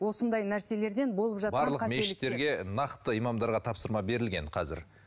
осындай нәрселерден болып жатқан барлық мешіттерге нақты имамдарға тапсырма берілген қазір